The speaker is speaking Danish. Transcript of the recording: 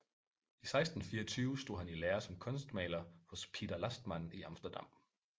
I 1624 stod han i lære som kunstmaler hos Pieter Lastman i Amsterdam